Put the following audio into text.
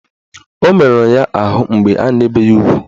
O meruru ya ahụ mgbe a na-ebe ya ugwu